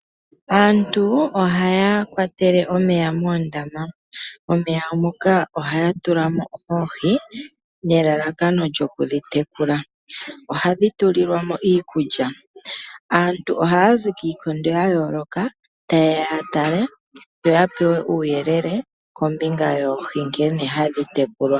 Aantu ohaya kwatele omeya moondama, momeya moka ohaya tula mo oohi nelalakano lyokudhi tekula. Ohadhi tulilwa mo iikulya. Aantu ohaya zi kiikondo ya yooloka tayeya ya tale yo ya pewe uuyelele kombinga ya nkene oohi hadhi tekulwa.